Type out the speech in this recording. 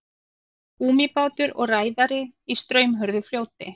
Gúmmíbátur og ræðari í straumhörðu fljóti.